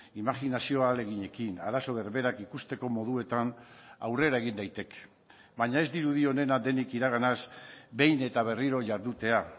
imajinazioarekin arazo berberak ikusteko moduetan aurrera egin daiteke baina ez dirudi onena denik iraganaz behin eta berriro jardutea